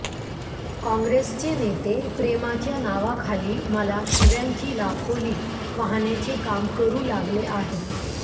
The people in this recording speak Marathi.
काँग्रेसचे नेते प्रेमाच्या नावाखाली मला शिव्यांची लाखोली वाहण्याचे काम करू लागले आहेत